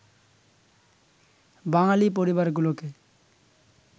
বাঙালি পরিবারগুলোকে